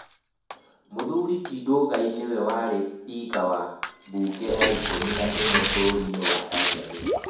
Mũthuri ti Ndugai nĩwe warĩ cipika wa mbunge ya ikũmi na ĩmwe ya bũrũri wa Tanzania